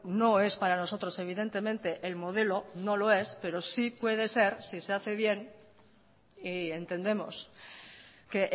no es para nosotros evidentemente el modelo no lo es pero sí puede ser si se hace bien y entendemos que